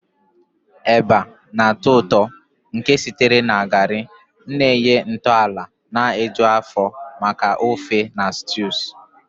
Eba, ilo dị nro na nke na-atọ ụtọ nke sitere na garri, na-enye ntọala na-eju afọ maka ofe na stews